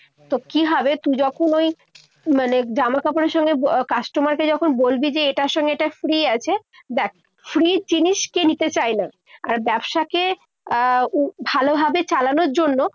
তো কি হবে। তুই যখন ওই মানে জামাকাপড়ের সঙ্গে customer কে যখন বলবি যে এটার সঙ্গে এটা free আছে। ব্যাস, free র জিনিস কে নিতে চায় না? আর ব্যবসাকে আহ ভালোভাবে চালানোর জন্য